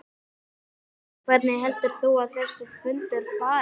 Jóhannes: Hvernig heldur þú að þessi fundur fari?